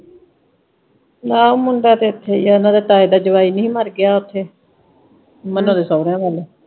ਮੁੰਡਾ ਤੇ ਇੱਥੇ ਈ ਆ ਇਨ੍ਹਾਂ ਦੇ ਤਾਏ ਦਾ ਜਵਾਈ ਨੀ ਹੀ ਮਰ ਗਿਆ ਉਥੇ ਮੰਨਾ ਦੇ ਸਹੁਰਿਆਂ ਵੱਲ।